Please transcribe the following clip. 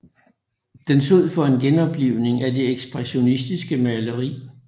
Den stod for en genoplivning af det ekspressionistiske maleri